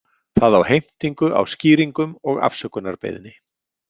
Það á heimtingu á skýringum og afsökunarbeiðni.